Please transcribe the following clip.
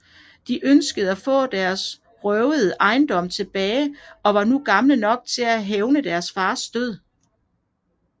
De ønskede at få deres røvede ejendom tilbage og var nu gamle nok til at hævne deres fars død